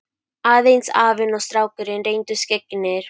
Aðeins afinn og strákurinn reyndust skyggnir.